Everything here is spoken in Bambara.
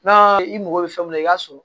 N'a i mago bɛ fɛn mun na i b'a sɔrɔ